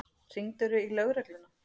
Hringdirðu í lögregluna?